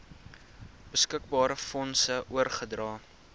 beskikbare fondse oorgedra